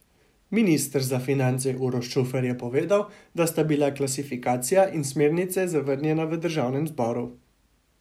Minister za finance Uroš Čufer je povedal, da sta bila klasifikacija in smernice zavrnjena v državnem zboru.